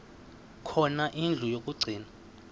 khona indlu yokagcina